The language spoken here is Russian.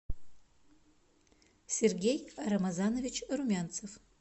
сергей рамазанович румянцев